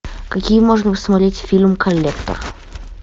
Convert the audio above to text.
какие можно посмотреть фильм коллектор